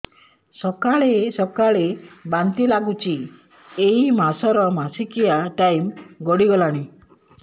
ସକାଳେ ସକାଳେ ବାନ୍ତି ଲାଗୁଚି ଏଇ ମାସ ର ମାସିକିଆ ଟାଇମ ଗଡ଼ି ଗଲାଣି